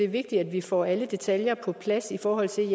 er vigtigt at vi får alle detaljer på plads i forhold til